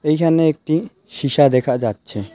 এইখানে একটি সীসা দেখা যাচ্ছে .